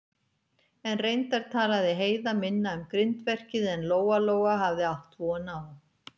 En reyndar talaði Heiða minna um grindverkið en Lóa-Lóa hafði átt von á.